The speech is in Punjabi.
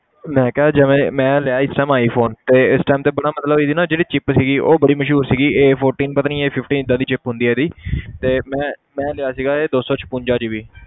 ਮੈਂ ਕਿਹਾ ਜਿਵੇਂ ਮੈਂ ਲਿਆ ਇਸ time iphone ਤੇ ਇਸ time ਤੇ ਪਹਿਲਾਂ ਮਤਲਬ ਇਹਦੀ ਨਾ ਜਿਹੜੀ chip ਸੀਗੀ ਉਹ ਬੜੀ ਮਸ਼ਹੂਰ ਸੀਗੀ a fourteen ਪਤਾ ਨੀ a fifteen ਏਦਾਂ ਦੀ chip ਹੁੰਦੀ ਹੈ ਇਹਦੀ ਤੇ ਮੈਂ ਮੈਂ ਲਿਆ ਸੀਗਾ ਇਹ ਦੋ ਸੌ ਛਪੰਜਾ GB